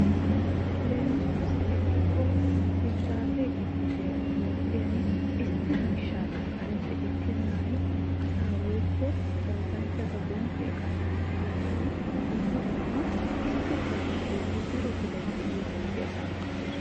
leemisuwaassi ekkikko hiddaase giddibiya toophphiyan issi miishshaakka kareppe ekkennan asaa woyikko oosanchchata bonddiya qanxxissiyogan dumma dumma issi biraappe doommi daro biray de'iyo bonddiya qanxxissoosona.